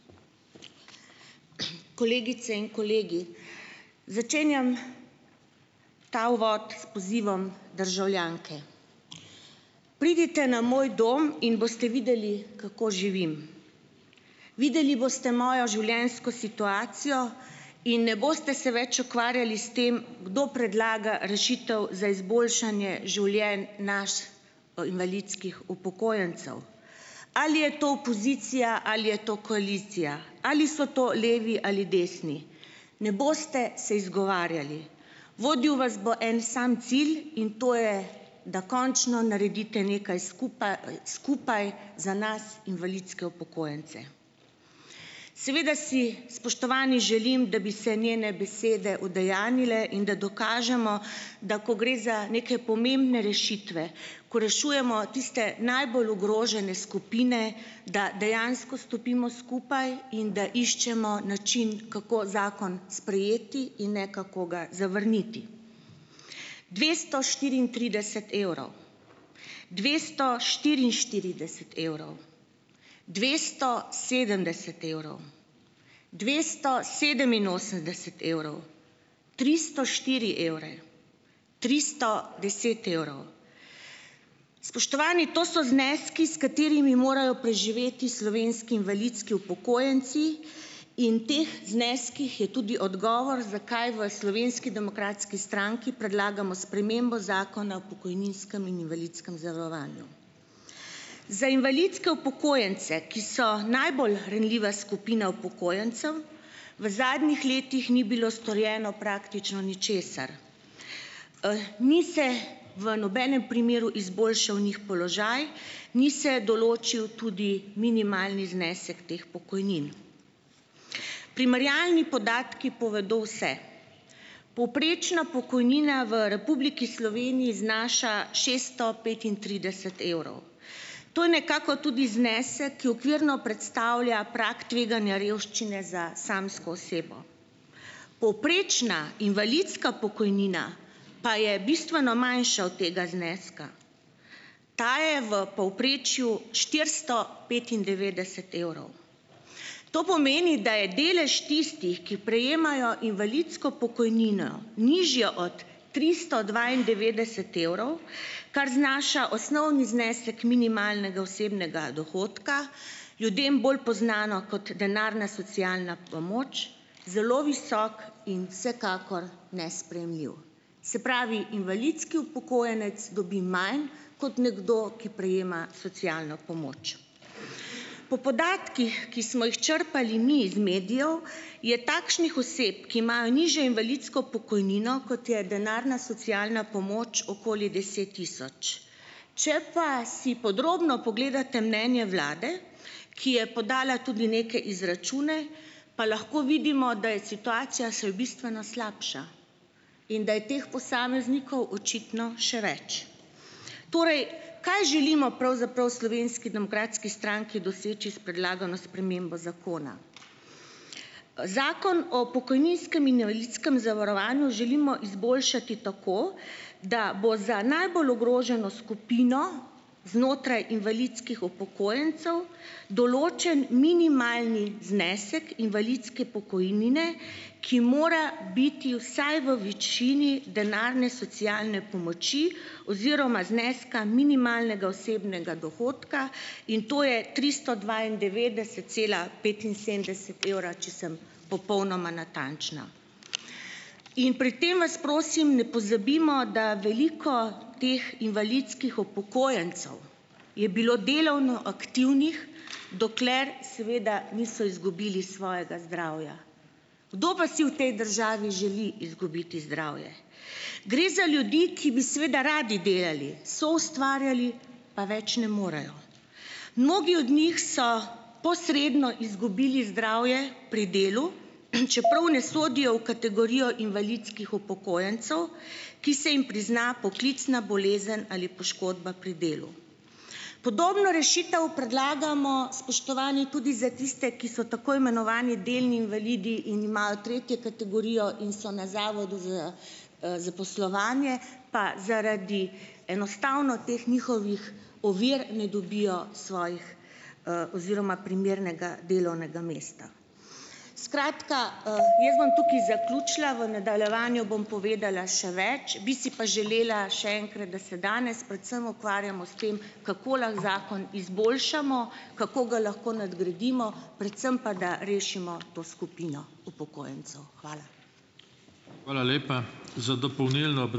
Kolegice in kolegi. Začenjam ta uvod s pozivom državljanke. Pridite na moj dom in boste videli, kako živim. Videli boste mojo življenjsko situacijo in ne boste se več ukvarjali s tem, kdo predlaga rešitev za izboljšanje življenj nas, invalidskih upokojencev. Ali je to opozicija ali je to koalicija, ali so to levi ali desni. Ne boste se izgovarjali. Vodil vas bo en sam cilj in to je, da končno naredite nekaj skupaj za nas, invalidske upokojence. Seveda si, spoštovani, želim, da bi se njene besede udejanjile in da dokažemo, da ko gre za neke pomembne rešitve, ko rešujemo tiste najbolj ogrožene skupine, da dejansko stopimo skupaj in da iščemo način, kako zakon sprejeti in ne kako ga zavrniti. Dvesto štiriintrideset evrov. Dvesto štiriinštirideset evrov. Dvesto sedemdeset evrov. Dvesto sedeminosemdeset evrov. Tristo štiri evre. Tristo deset evrov. Spoštovani, to so zneski, s katerimi morajo preživeti slovenski invalidski upokojenci in teh zneskih je tudi odgovor, zakaj v Slovenski demokratski stranki predlagamo spremembo Zakona o pokojninskem in invalidskem zavarovanju. Za invalidske upokojence, ki so najbolj ranljiva skupina upokojencev, v zadnjih letih ni bilo storjeno praktično ničesar. ni se v nobenem primeru izboljšal njih položaj, ni se določil tudi minimalni znesek teh pokojnin. Primerjalni podatki povedo vse. Povprečna pokojnina v Republiki Sloveniji znaša šeststo petintrideset evrov. To je nekako tudi znesek, ki okvirno predstavlja prag tveganja revščine za samsko osebo. Povprečna invalidska pokojnina pa je bistveno manjša od tega zneska. Ta je v povprečju štiristo petindevetdeset evrov. To pomeni, da je delež tistih, ki prejemajo invalidsko pokojnino, nižja od tristo dvaindevetdeset evrov, kar znaša osnovni znesek minimalnega osebnega dohodka, ljudem bolj poznano kot denarna socialna pomoč, zelo visok in vsekakor nesprejemljiv. Se pravi, invalidski upokojenec dobi manj kot nekdo, ki prejema socialno pomoč. Po podatkih, ki smo jih črpali mi iz medijev, je takšnih oseb, ki imajo nižjo invalidsko pokojnino, kot je denarna socialna pomoč, okoli deset tisoč. Če pa si podrobno pogledate mnenje vlade, ki je podala tudi neke izračune, pa lahko vidimo, da je situacija se bistveno slabša. In da je teh posameznikov očitno še več. Torej, kaj želimo pravzaprav Slovenski demokratski stranki doseči s predlagano spremembo zakona? Zakon o pokojninskem in invalidskem zavarovanju želimo izboljšati tako, da bo za najbolj ogroženo skupino znotraj invalidskih upokojencev določen minimalni znesek invalidske pokojnine, ki mora biti vsaj v višini denarne socialne pomoči oziroma zneska minimalnega osebnega dohodka in to je tristo dvaindevetdeset cela petinsedemdeset evra , če sem popolnoma natančna. In pri tem vas prosim, ne pozabimo, da veliko teh invalidskih upokojencev je bilo delovno aktivnih, dokler seveda niso izgubili svojega zdravja. Kdo pa si v tej državi želi izgubiti zdravje? Gre za ljudi, ki seveda radi delali, soustvarjali, pa več ne morejo. Mnogi od njih so posredno izgubili zdravje pri delu, čeprav ne sodijo v kategorijo invalidskih upokojencev, ki se jim prizna poklicna bolezen ali poškodba pri delu. Podobno rešitev predlagamo, spoštovani, tudi za tiste, ki so tako imenovani delni invalidi in imajo tretjo kategorijo in so na zavodu za, zaposlovanje, pa zaradi enostavno teh njihovih ovir ne dobijo svojih, oziroma primernega delovnega mesta. Skratka, jaz bom tukaj zaključila , v nadaljevanju bom povedala še več, bi si pa želela še enkrat, da se danes predvsem ukvarjamo s tem, kako lahko zakon izboljšamo, kako ga lahko nadgradimo, predvsem pa da rešimo to skupino upokojencev. Hvala. Hvala lepa. Za dopolnilno ...